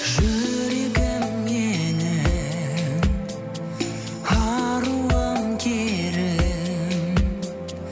жүрегім менің аруым керім